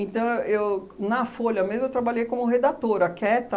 eu eu, na Folha mesmo, eu trabalhei como redatora, quieta.